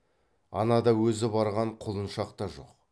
анада өзі барған құлыншақ та жоқ